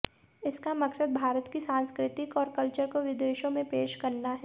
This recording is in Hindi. इसका मकसद भारत की सांस्कृतिक और कल्चर को विदेशों में पेश करना है